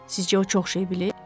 Sizcə o çox şey bilir?